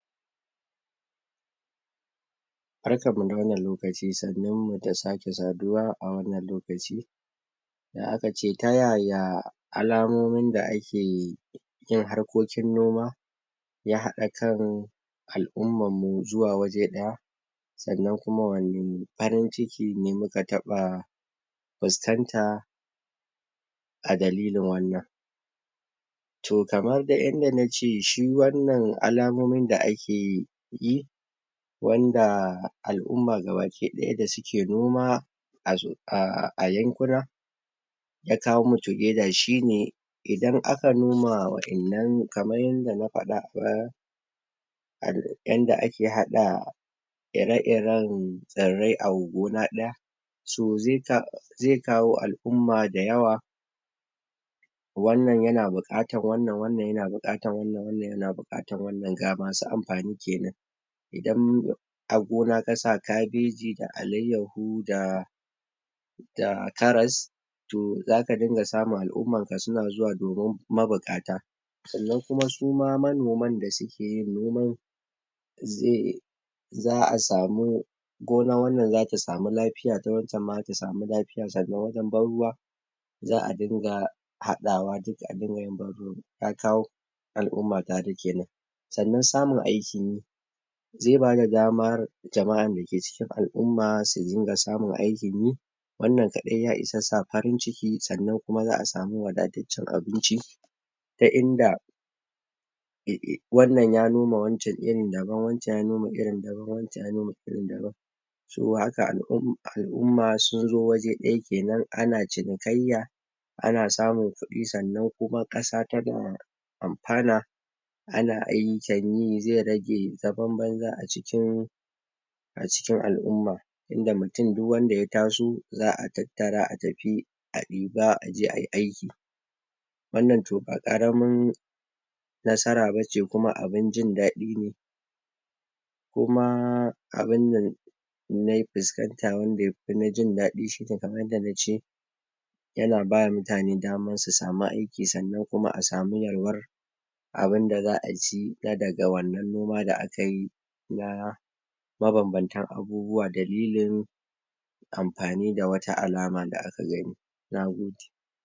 Barkan mu da wannan lokaci ake sannumu da sake saduwa a wannan lokaci da akace ta yaya alamomin da ake yon harkokin noma ya hada kan al'ummanmu zuwa waje ɗaya sannan kuma wani farin ciki ne muka taba fuskanta a dalilin wannan to kamar dai yadda nace shi wannan alamomin da ake yi wanda al'umma gaba ki ɗaya da suke noma ah ah.... yankuna ya kawo mu together shi ne... idan aka noma waɗanan kaman yanda na faɗa a baya yanda ake haɗa iri iren... tsirrrai a gona ɗaya so zai kawo al'umma da yawa wannan yana bukatar wannan yana bukatar wannan yana bukatar wannan ga masu amfani sosai idan a gona kasa kabeji da alaiyaho da da karas to zaka dinga samu al'umman ka suna zuwa domin mabukata sanan suma kuma manoman da suke yin noman zai za'a samu gonan wannan zata sama lafiya ta waccen ma zata sama lafiya sannan wajen ban ruwa za'a dinga haɗawa duka adinga yin ban ruwa, ka kawo al'umma tare kenan sannan samun aikinyi zai bada dama jama'an dake cikin al'umma su dinga samun aikin yi wannan kaɗai ya isa sa farin ciki sannan kuma za'a sama wadataccen abinci ta inda wannan ya noma wancen irin daban wancen ya noma wancen irin daban to haka al'umma sunzo waje ɗaya kenan ana cinikayya ana samun kudi sannan kuma kasa tana amfana ana aiyukan yi, zai rage zaman banza a cikin a cikin al'umma tinda mutum dukwanda ya taso za'a tattara a ɗiba a je ayi aiki wannan to ba karamin nasara bace kuma abin jin daɗi ne kuma..... abinnan nai fuskanta wanda yafi na jin daɗi shi ne kaman yanda nace yana mutane daman su sama aiki sannan kuma a sama yalwar... abinda za'a ci na daga wannan noma da akayi na.. mabanbantan abubuwa, dalilin amfani da wata alama da aka gani, nagode.